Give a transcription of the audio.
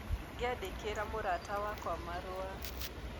Ngĩandĩkĩra mũrata wakwa marũa.